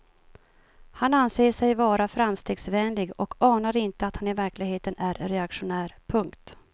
Han anser sig vara framstegsvänlig och anar inte att han i verkligheten är reaktionär. punkt